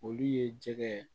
Olu ye jɛgɛ ye